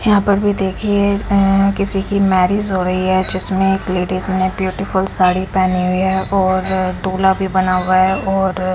यहां पर भी देखिए इसमें किसी की मैरिज हो रही है जिसमें एक लेडिस ने ब्यूटीफुल साड़ी पहनी हुई है और डोला भी बना हुआ है और--